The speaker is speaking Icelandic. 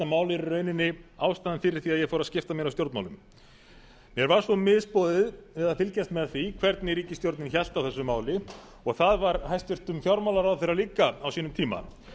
í rauninni ástæðan fyrir því að ég fór að skipta mér af stjórnmálum mér fannst mér misboðið að fylgjast með því hvernig ríkisstjórnin hélt á þessu máli og það var hæstvirtur fjármálaráðherra líka á sínum tíma